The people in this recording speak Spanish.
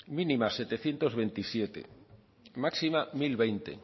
mínima setecientos veintisiete máxima mil veinte